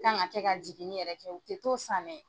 Kan ka kɛ ka jiginni yɛrɛ kɛ o tɛ t'o san dɛ.